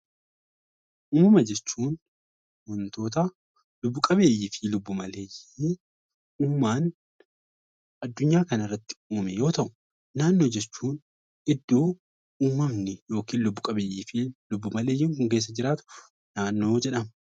Uumama jechuun waantota lubbu qabeeyyii fi lubbu maleeyyii uumamaan adunyaa kana irratti uumame yoo ta'u, naannoo jechuun iddoo uumamni lubbu qabeeyyii fi lubbu maleeyyii kunniin keessa jiraatu naannoo jedhama.